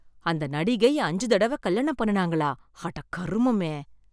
அந்த நடிகை அஞ்சு தடவ கல்யாணம் பண்ணுனாங்களா? அடக் கருமமே.